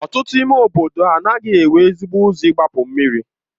Ọtụtụ ime obodo anaghị enwe ezigbo ụzọ igbapu mmiri.